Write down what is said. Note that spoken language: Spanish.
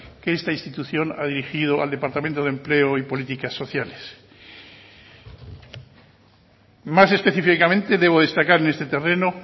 que esta institución ha dirigido al departamento de empleo y políticas sociales más específicamente debo destacar en este terreno